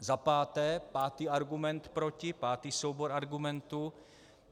Za páté, pátý argument proti, pátý soubor argumentů.